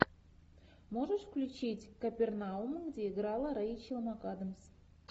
можешь включить капернаум где играла рейчел макадамс